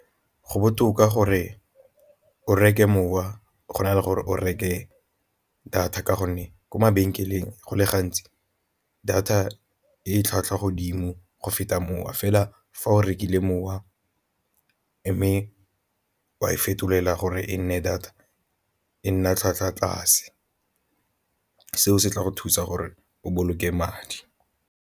Go botoka gore o reke mowa go na le gore o reke data ka gonne ko mabenkeleng go le gantsi data e tlhwatlhwa godimo go feta mowa fela fa o rekile mowa mme wa e fetolela gore e nne data e nna tlhwatlhwa tlase, seo se tla go thusa gore o boloke madi.